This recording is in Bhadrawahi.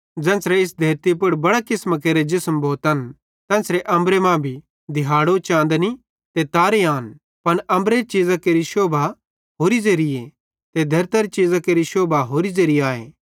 ज़ेन्च़रे इस धेरतली पुड़ बड़े किसमां केरे जिसम भोतन तेन्च़रे अम्बरे मां भी दिहाड़ो चाँदनी ते तारे आन पन अम्बरेरी चीज़ां केरि शोभा होरि ज़ेरीए ते धेरतरे चीज़ां केरि शोभा होरि ज़ेरि आए